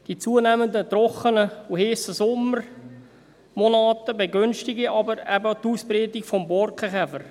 Die zunehmenden, trockenen und heissen Sommermonate begünstigen aber eben die Ausbreitung des Borkenkäfers.